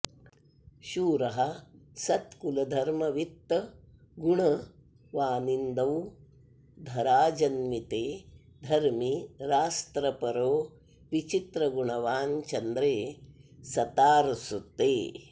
शूरः सत्कुलधर्मवित्तगुणवानिन्दौ धराजन्विते धर्मी रास्त्रपरो विचित्रगुणवान् चन्द्रे सतार्सुते